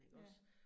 Ja